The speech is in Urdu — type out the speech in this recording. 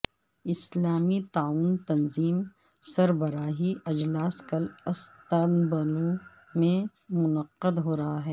اسلامی تعاون تنظیم سربراہی اجلاس کل استنبول میں منعقد ہو رہا ہے